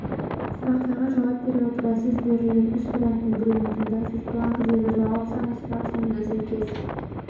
сұрақтарға жауап бере отыра сіз берілген үш варианттың біреуін таңдайсыз бланкідегі жауап саны сұрақ санына сәйкес